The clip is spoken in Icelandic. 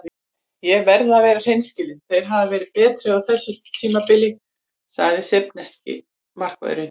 Ég verð að vera hreinskilinn- þeir hafa verið betri á þessu tímabili, sagði serbneski bakvörðurinn.